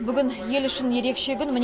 бүгін ел үшін ерекше күн